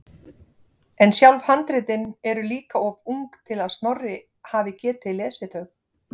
En sjálf handritin eru líka of ung til að Snorri hafi getað lesið þau.